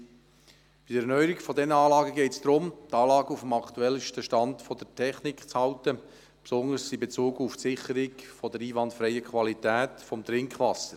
Bei der Erneuerung dieser Anlagen geht es darum, die Anlagen auf dem aktuellsten Stand der Technik zu halten, insbesondere in Bezug auf die Sicherung der einwandfreien Qualität des Trinkwassers.